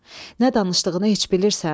Nə danışdığını heç bilirsən?